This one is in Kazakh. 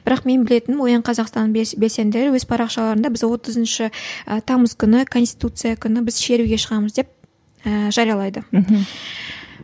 бірақ мен білетін оян қазақстан белсенділері өз парақшаларында біз отызыншы і тамыз күні конституция күні біз шеруге шығамыз деп ііі жариялайды мхм